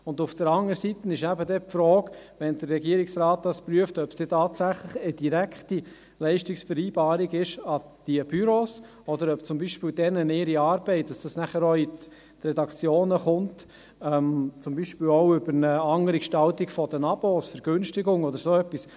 Andererseits ist die Frage, wenn es der Regierungsrat prüft, ob es tatsächlich eine direkte Leistungsvereinbarung mit den Büros ist, oder ob deren Arbeit, die auch zu den Redak tionen gelangt, zum Beispiel auch über eine andere Gestaltung der Abonnemente, Vergünstigungen oder dergleichen möglich ist.